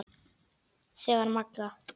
Þegar Magga